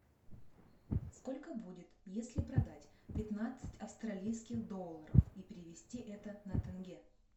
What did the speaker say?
сколько будет если продать пятнадцать австралийских долларов и перевести это на тенге